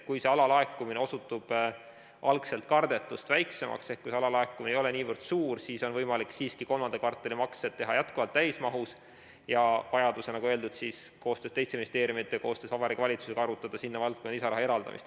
Kui alalaekumine osutub algselt kardetust väiksemaks ehk kui alalaekumine ei ole niivõrd suur, siis on võimalik siiski kolmanda kvartali maksed teha jätkuvalt täismahus ja vajaduse korral, nagu öeldud, koostöös teiste ministeeriumidega ja koostöös Vabariigi Valitsusega arutada sinna valdkonda lisaraha eraldamist.